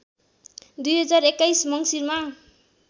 २०२१ मङ्सिरमा